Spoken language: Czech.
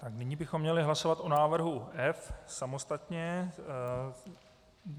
A nyní bychom měli hlasovat o návrhu F samostatně.